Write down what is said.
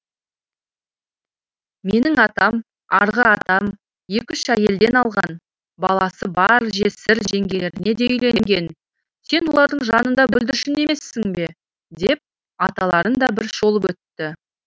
менің атам арғы атам екі үш әйелден алған баласы бар жесір жеңгелеріне де үйленген сен олардың жанында бүлдіршін емессің бе деп аталарын да бір шолып өтті